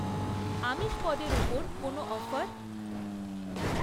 আমিষ পদের ওপর কোনও অফার?